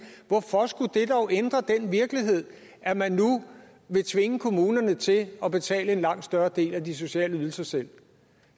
hvorfor skulle det dog ændre den virkelighed at man nu vil tvinge kommunerne til at betale en langt større del af de sociale ydelser selv